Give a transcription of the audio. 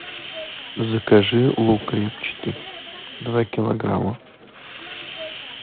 закажи лук репчатый два килограмма